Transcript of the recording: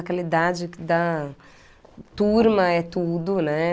Aquela idade da turma é tudo, né?